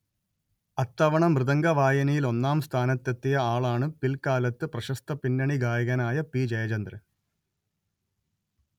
അത്തവണ മൃദംഗവായനയിൽ ഒന്നാം സ്ഥാനത്തെത്തിയ ആളാണ് പിൽക്കാലത്ത് പ്രശസ്ത പിന്നണി ഗായകനായ പി_letter ജയചന്ദ്രൻ